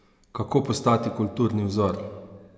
Kako postati kulturni vzor?